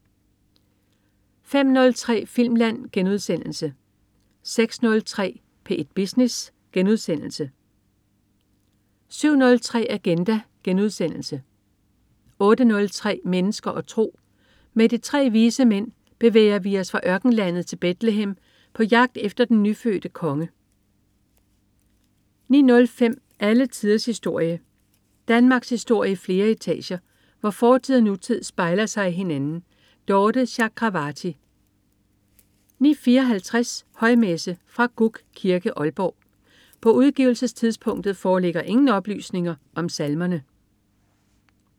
05.03 Filmland* 06.03 P1 Business* 07.03 Agenda* 08.03 Mennesker og tro. Med de tre vise mænd bevæger vi os fra ørkenlandet til Betlehem på jagt efter den nyfødte konge 09.07 Alle tiders historie. Danmarkshistorie i flere etager, hvor fortid og nutid spejler sig i hinanden. Dorthe Chakravarty 09.54 Højmesse. Fra Gug Kirke, Aalborg. På udgivelsestidspunktet foreligger ingen oplysninger om salmerne